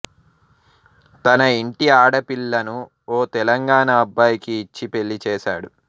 తన ఇంటి ఆడపిల్లను ఓ తెలంగాణా అబ్బాయికి ఇచ్చి పెళ్లి చేస్తాడు